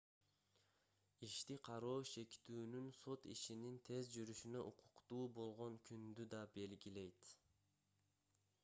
ишти кароо шектүүнүн сот ишинин тез жүрүшүнө укуктуу болгон күндү да белгилейт